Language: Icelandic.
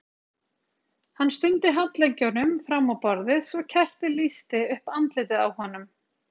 Hann studdi handleggjunum fram á borðið svo kertið lýsti upp andlitið á honum.